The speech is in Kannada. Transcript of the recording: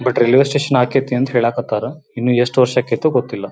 ಬಟ್ ರೈಲ್ವೆ ಸ್ಟೇಷನ್ ಹಾಕೈತಿ ಅಂತ ಹೇಳಕತ್ತರ ಇನ್ನ ಎಷ್ಟು ವರ್ಷ ಆಕೈತೋ ಗೊತ್ತಿಲ್ಲಾ.